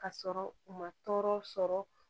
Ka sɔrɔ u ma tɔɔrɔ sɔrɔ